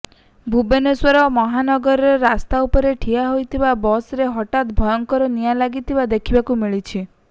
ଭୁବନେଶ୍ୱର ସହୀଦନଗରରେ ରାସ୍ତା ଉପରେ ଠିଆ ହୋଇଥିବା ବସ୍ ରେ ହଠାତ୍ ଭୟଙ୍କର ନିଆଁ ଲାଗିଥିବା ଦେଖିବାକୁ ମିଳିଛି